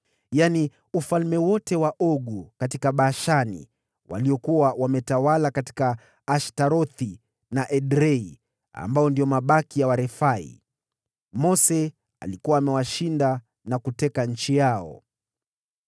yaani ufalme wote wa Ogu katika Bashani, aliyekuwa ametawala katika Ashtarothi na Edrei, na ndiye pekee alisalia kwa Warefai. Mose alikuwa amewashinda na kuteka nchi yao.